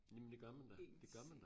Jamen det gør man da det gør man da